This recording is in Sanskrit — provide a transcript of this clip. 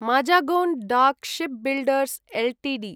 Mazagon dock shipbuilders Ltd